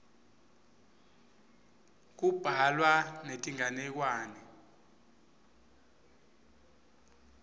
kubhalwa netinganekwane